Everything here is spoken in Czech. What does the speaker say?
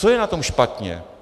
Co je na tom špatně?